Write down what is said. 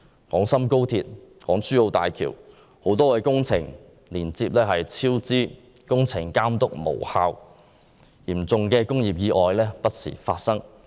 廣深港高鐵、港珠澳大橋等多項工程接連超支，工程監督無效，嚴重的工業意外不時發生。